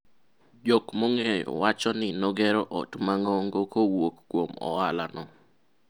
jok mong'eye wacho ni nogero ot mang'ongo kowuok kuom ohala no